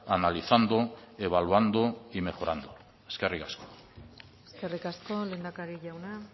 analizando evaluando y mejorando eskerrik asko eskerrik asko lehendakari jauna